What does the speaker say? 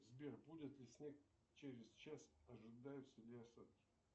сбер будет ли снег через час ожидаются ли осадки